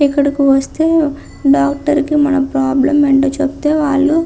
ఇక్కడికి వస్తే డాక్టర్ కి మన ప్రాబ్లం ఏంటో చెప్తే వాళ్ళు --